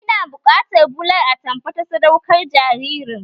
Ina buƙatar bular atamfa ta sadaukar jaririn